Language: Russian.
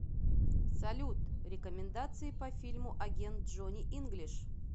салют рекомендации по фильму агент джони инглиш